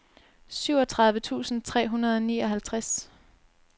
syvogtredive tusind tre hundrede og nioghalvtreds